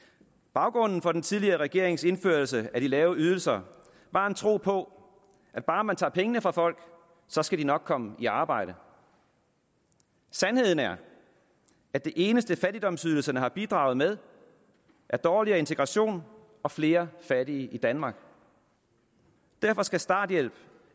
baggrunden for den tidligere regerings indførelse af de lave ydelser var en tro på at bare man tager pengene fra folk skal de nok komme i arbejde sandheden er at det eneste fattigdomsydelserne har bidraget med er dårligere integration og flere fattige i danmark derfor skal starthjælpen